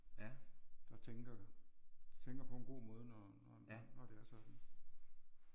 Der tænker de tænker på en god måde når det er sådan